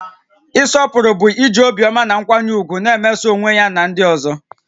Ịsọpụrụ bụ iji obiọma na nkwanye ùgwù na-emeso onwe ya na ndị ọzọ